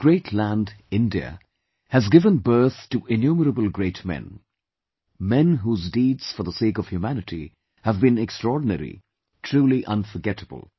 This great land, India, has given birth to innumerable great men, men whose deeds for the sake for humanity have been extraordinary, truly unforgettable